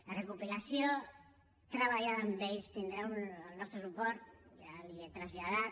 la recopilació treballada amb ells tindrà el nostre suport ja l’hi he traslladat